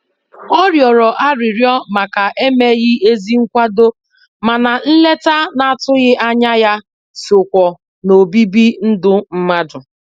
Ọ rịọrọ arịrịọ màkà emeghị ezi nkwado, mana nleta n'atụghị ányá ya sokwa n'obibi ndụ mmadụ.